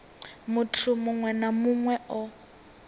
muthu muṅwe na muṅwe o